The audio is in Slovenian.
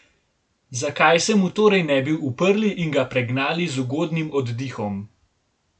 Zakaj se mu torej ne bi uprli in ga pregnali z ugodnim oddihom?